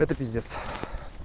это пиздец